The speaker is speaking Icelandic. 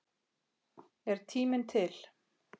Er tíminn til?